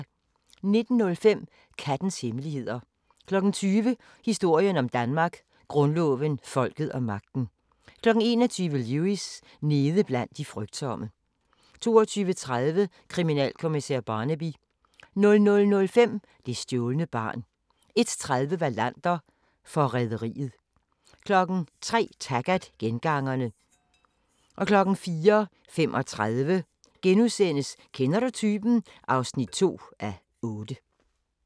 19:05: Kattens hemmeligheder 20:00: Historien om Danmark: Grundloven, folket og magten 21:00: Lewis: Nede blandt de frygtsomme 22:30: Kriminalkommissær Barnaby 00:05: Det stjålne barn 01:30: Wallander: Forræderiet 03:00: Taggart: Gengangerne 04:35: Kender du typen? (2:8)*